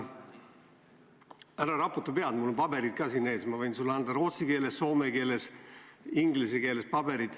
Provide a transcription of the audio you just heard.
Ära raputa pead, mul on paberid ka siin ees, ma võin sulle anda paberid rootsi keeles, soome keeles, inglise keeles.